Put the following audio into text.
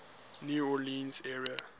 new orleans area